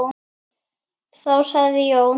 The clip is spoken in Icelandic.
Þá sagði Jón